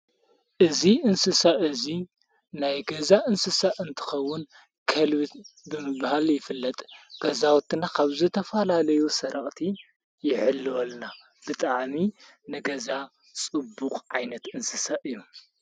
እዙ እንስሳ እዙይ ናይ ገዛ እንስሳእ እንትኸውን ከልብት ብምብሃል ይፍለጥ ገዛወትና ኻብዘ ተፋላለዮ ሠረቕቲ የሕሊ ወልና ብጥኣሚ ነገዛ ጽቡቕ ዓይነት እንስሳ እዩ።